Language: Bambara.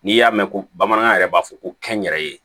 N'i y'a mɛn ko bamanankan yɛrɛ b'a fɔ ko kɛnyɛrɛye